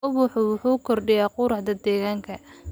Ubaxa wuxuu kordhiyaa quruxda deegaanka.